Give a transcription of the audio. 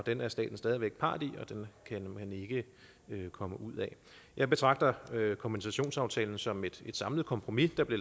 den er staten stadig væk part i og den kan man ikke komme ud af jeg betragter kompensationsaftalen som et samlet kompromis der blev